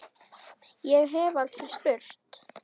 Ég hef aldrei spurt.